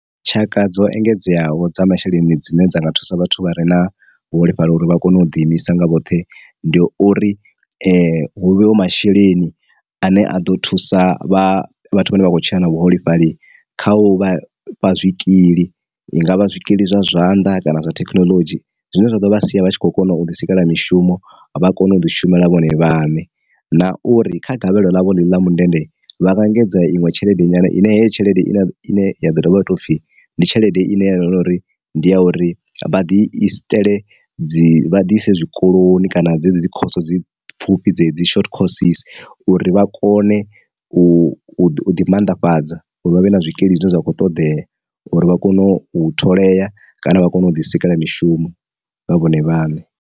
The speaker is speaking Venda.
Tshaka dzo engedzeaho dza masheleni dzine dza nga thusa vhathu vha re na vhuholefhali uri vha kone u ḓi imisa nga vhoṱhe ndi uri huvhewe masheleni ane a ḓo thusa vhathu vha ne vha khou tshila na vhuholefhali kha u vha fha zwikili i ngavha zwikili zwa zwanḓa, kana zwa thekinoḽodzhi, zwine zwa ḓo vha sia vha tshi kho kona u ḓi sikela mishumo vha kone u ḓi shumela vhone vhaṋe. Na uri kha gavhelo ḽavho ḽe ḽi ḽa mundende, vha nga engedza iṅwe tshelede nyana ine heyo tshelede i ne ya vha tou pfhi ndi tshelede ine ya ngori ndi ya uri vha ḓi i si itele dzi vha dise zwikoloni kana dzedzi dzikhoso dzi pfufhi dzi dzi short courses, uri vha kone u ḓi mannḓafhadza uri vha vhe na zwikili zwine zwa kho ṱoḓea uri vha kone u tholea kana vha kone u ḓi sika mishumo nga vhone vhaṋe.